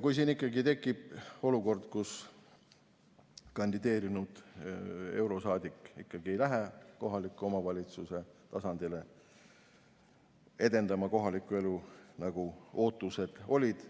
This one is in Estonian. Kui tekib olukord, kus kandideerinud eurosaadik ikkagi ei lähe kohaliku omavalitsuse tasandile kohalikku elu edendama, nagu ootused olid,